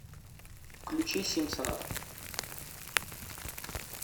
включи симпсонов